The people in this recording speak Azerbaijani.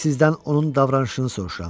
Mən sizdən onun davranışını soruşuram.